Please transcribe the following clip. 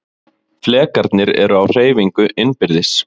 Flekarnir eru á hreyfingu innbyrðis.